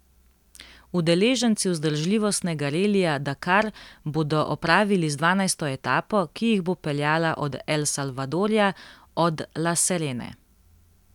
Udeleženci vzdržljivostnega relija Dakar bodo opravili z dvanajsto etapo, ki jih bo peljala od El Salvadorja od La Serene.